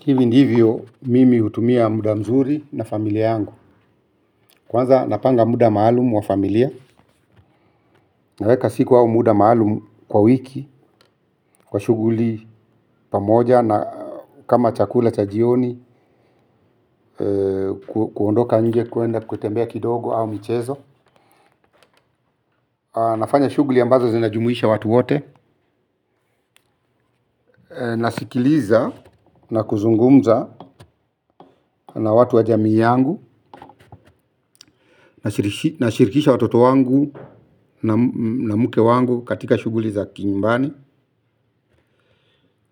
Hivi ndivyo mimi hutumia muda mzuri na familia yangu. Kwanza napanga muda maalumu wa familia. Naweka siku au muda maalumu kwa wiki. Kwa shuguli pamoja na kama chakula chajioni. Kuondoka nje kuenda kutembea kidogo au michezo. Nafanya shuguli ambazo zinajumuisha watu wote. Nasikiliza na kuzungumza na watu wa jamii yangu. Nashirikisha watoto wangu na mke wangu katika shuguli za kinyumbani